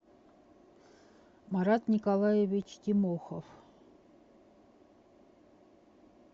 марат николаевич тимохов